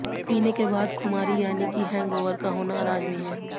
पीने के बाद खुमारी यानी की हैंगओवर का होना लाजमी है